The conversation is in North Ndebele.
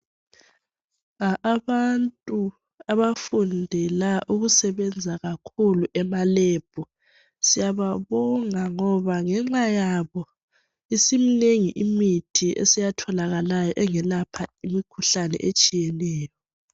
Abantu abafundela ukusebenza kakhulu ema lab siyababonga ngoba ngenxayabo isiminengi imithi eseyatholakalayo engelapha imikhuhlane etshiyeneyo